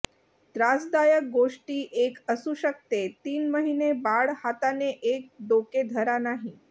त्रासदायक गोष्टी एक असू शकते तीन महिने बाळ हाताने एक डोके धरा नाही